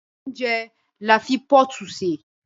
Óúnjẹ là ń fi pọ́ọ̀tù ṣè